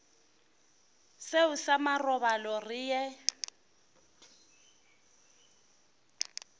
seo sa marobalo re ye